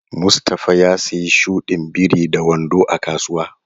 Mustafa ya siya shudin biri da wando a kasuwa.